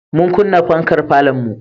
Mun kunna farkar falonmu.